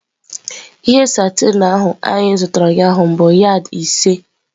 Ihe satin ahụ anyị zụtara ụnyaahụ bụ yad ise.